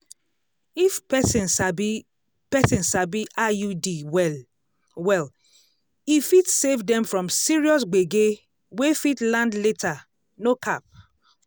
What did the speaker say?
if person sabi person sabi iud well-well e fit save dem from serious gbege wey fit land later no cap